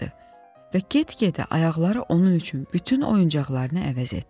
və get-gedə ayaqları onun üçün bütün oyuncaqlarını əvəz etdi.